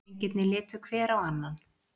Drengirnir litu hver á annan.